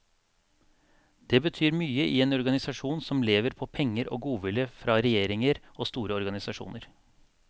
Det betyr mye i en organisasjon som lever på penger og godvilje fra regjeringer og store organisasjoner.